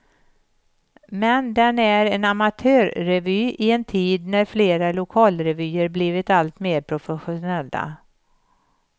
Men den är en amatörrevy i en tid när flera lokalrevyer blivit alltmer professionella.